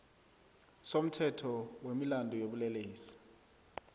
somthetho wemilandu yobulelesi